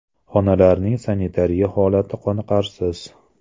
Xonalarning sanitariya holati qoniqarsiz.